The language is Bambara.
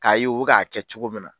K'a ye i bɛ k'a kɛ cogo min na.